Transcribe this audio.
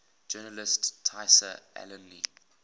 journalist tayseer allouni